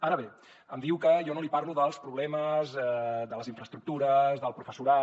ara bé em diu que jo no li parlo dels problemes de les infraestructures del professorat